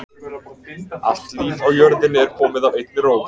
Allt líf á jörðinni er komið af einni rót.